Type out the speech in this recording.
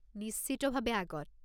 নিশ্চিতভাৱে আগত।